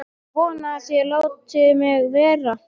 Ég vona að þeir láti mig vera.